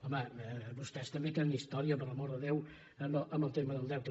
home vostès també te·nen història per l’amor de déu amb el tema del deu·te